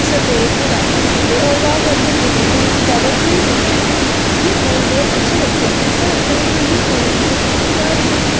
सफेद गुलाबी पीले और लाल रंग के फूलों से ये सजावट हुई हुई है ये फूल बहोत अच्छे लगते हैं ऐसा लगता है कि ये फूल बहोत खुशबूदार होगी।